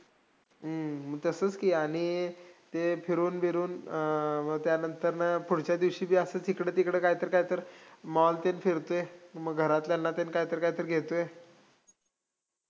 हम्म तसंच की आणि ते फिरून बिरून अं त्या नंतरनं पुढच्या दिवशी बी असंच इकडं-तिकडं कायतर कायतर mall तेन फिरतोय, मग घरातल्यांना तेन कायतर कायतर घेतोय,